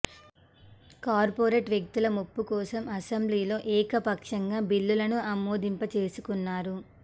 corporate వ్యక్తుల మెప్పు కోసం అసెంబ్లీలో ఏకపక్షంగా బిల్లును ఆమోదింప చేసుకున్నారు